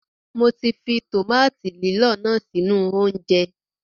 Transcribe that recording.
Mọ ti fi tòmáàtì lílọ̀ náà sínú oúnjẹ.